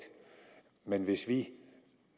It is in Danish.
men hvis vi